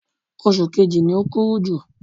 Oṣù kejì ni o kúrú jù.